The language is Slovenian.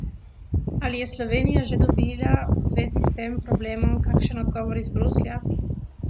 Ali je Slovenija že dobila v zvezi s tem problemom kakšen odgovor iz Bruslja?